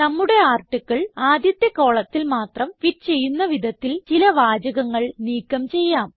നമ്മുടെ ആർട്ടിക്കിൾ ആദ്യത്തെ കോളത്തിൽ മാത്രം ഫിറ്റ് ചെയ്യുന്ന വിധത്തിൽ ചില വാചകങ്ങൾ നീക്കം ചെയ്യാം